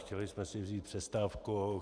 Chtěli jsme si vzít přestávku.